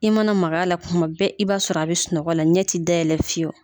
I mana maga a la kuma bɛɛ i b'a sɔrɔ a bɛ sunɔgɔ la ɲɛ ti dayɛlɛ fiyewu